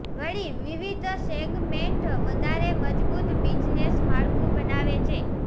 વળી વિવિધ સેગમેન્ટ વધારે મજબૂત બિઝનેસ માળખું બનાવે છે